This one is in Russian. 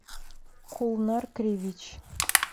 кулнар кривич